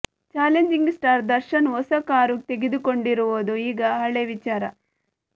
challenging star Darshan ಹೊಸ car ತೆಗೆದುಕೊಂಡಿರುವುದು ಈಗ ಹಳೆ ವಿಚಾರ